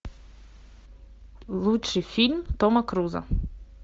лучший фильм тома круза